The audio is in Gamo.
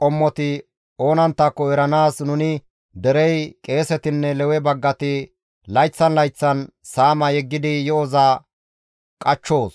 qommoti oonanttako eranaas nuni derey qeesetinne Lewe baggati layththan layththan saama yeggidi yo7oza qachchoos.